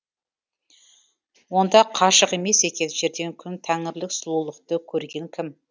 онда қашық емес екен жерден күн тәңірілік сұлулықты көрген кім